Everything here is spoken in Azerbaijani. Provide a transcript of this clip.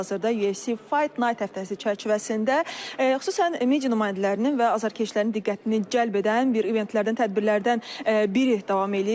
Hal-hazırda UFC Fight Night həftəsi çərçivəsində, xüsusən media nümayəndələrinin və azarkeşlərin diqqətini cəlb edən bir eventlərdən, tədbirlərdən biri davam eləyir.